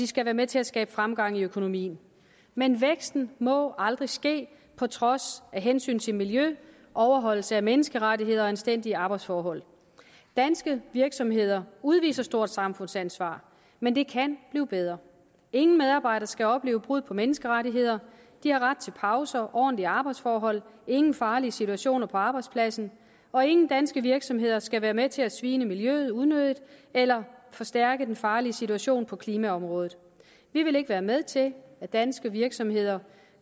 skal være med til at skabe fremgang i økonomien men væksten må aldrig ske på trods af hensyn til miljø overholdelse af menneskerettigheder og anstændige arbejdsforhold danske virksomheder udviser et stort samfundsansvar men det kan blive bedre ingen medarbejdere skal opleve brud på menneskerettigheder de har ret til pauser og ordentlige arbejdsforhold ingen farlige situationer på arbejdspladsen og ingen danske virksomheder skal være med til at tilsvine miljøet unødigt eller forstærke den farlige situation på klimaområdet vi vil ikke være med til at danske virksomheder